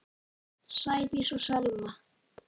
Sædís og Selma.